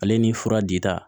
Ale ni fura dita